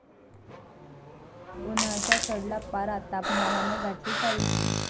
उन्हाचा चढला पारा, तापमानानं गाठली चाळीशी